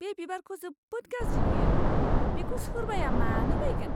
बे बिबारखौ जोबोद गाज्रि नुयो। बेखौ सोरबाया मानो बायगोन?